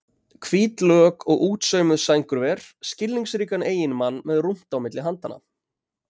Hvít lök og útsaumuð sængurver, skilningsríkan eiginmann með rúmt á milli handanna.